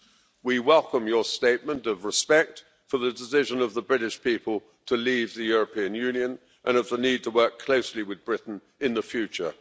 Dr von der Leyen, we welcome your statement of respect for the decision of the British people to leave the European Union and of the need to work closely with Britain in the future.